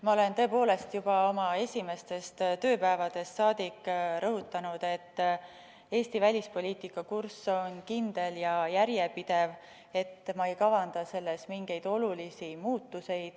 Ma olen tõepoolest juba oma esimestest tööpäevadest saadik rõhutanud, et Eesti välispoliitika kurss on kindel ja järjepidev ning ma ei kavanda mingeid olulisi muutusi.